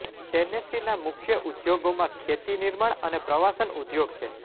ટેનેસીના મુખ્ય ઉદ્યોગોમાં ખેતી નિર્માણ અને પ્રવાસન ઉદ્યોગ છે